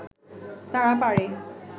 তারা পারে